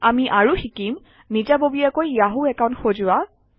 আমি আৰু শিকিম নিজাববীয়াকৈ য়াহু একাউণ্ট সজোৱা